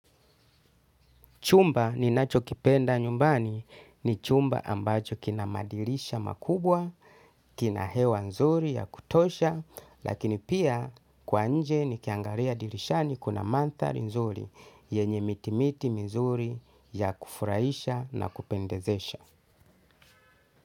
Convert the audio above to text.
Chumba ninacho kipenda nyumbani ni chumba ambacho kina madirisha makubwa, kina hewa nzuri ya kutosha, lakini pia kwa nje nikiangaliya dirishani kuna manthari nzuri, yenye miti miti mizuri ya kufurahisha na kupendezesha.